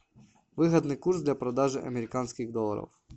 выгодный курс для продажи американских долларов